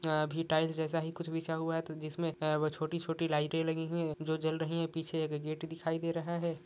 अभी टाईल्स जेसा ही कुछ बिछा हआ है जिसमे छोटी छोटी लाईट लगी हुई है जो जल रही है पीछे एक गेट दिखाई दे रहा है।